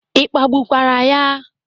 Ị kpagbukwara ya?